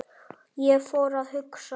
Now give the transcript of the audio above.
Ég fór að hugsa.